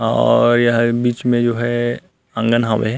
और यह बिच में जो है आंगन हावे हे।